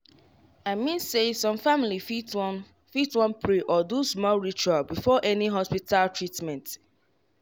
i mean say some family fit wan fit wan pray or do small ritual before any hospita treatment